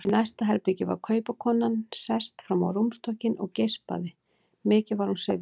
Í næsta herbergi var kaupakonan sest fram á rúmstokkinn og geispaði, mikið var hún syfjuð.